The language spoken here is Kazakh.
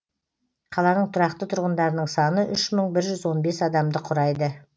қаланың тұрақты тұрғындарының саны үш мың бір жүз он бес адамды құрайды